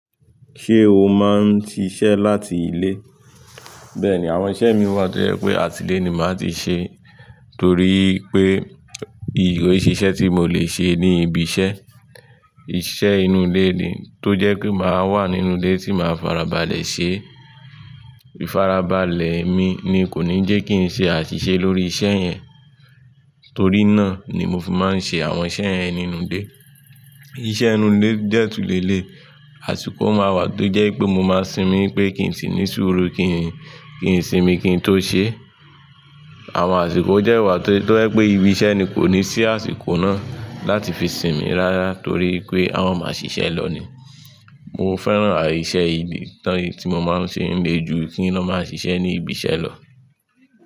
Ṣé o máa ń ṣiṣẹ́ láti ilé? Bẹ́ẹ̀ ni, àwọn iṣẹ́ mi wà tó jẹ́ pé àti ilé ni màá ti ṣe torí pé ko i se isẹ tí mo le ṣe ni ibi iṣẹ́, iṣẹ́ inú ilé ni tó jẹ́ pé màá wà nínú ilé tí màá farabalẹ̀ ṣe. Ifarabalẹ̀ mi ni kò ní jẹ́ kí n ṣe àṣìṣe lórí iṣẹ́ yẹn, torí náà ni mo fi máa ń ṣe àwọn iṣẹ́ yẹn nínú ilé. Iṣẹ́ inú ilé dẹ tun leléyi, àsìkò máa wà tó jẹ́ pé mo máa sinmi pé kí n sì ní sùúrù kí n sinmi kí n tó ṣé. Àwọn àsìkò dẹ wà tó jẹ́ pé ibi iṣẹ́ ni kò ní sí àsìkò náà láti fi sinmi rárá torí pé àwọn a máa ṣiṣẹ́ lọ ni. Mo fẹ́ran iṣẹ́ tí mo máa ń ṣe ń le ju kí n lọ máa ṣiṣẹ́ ní ibi iṣẹ́ lọ.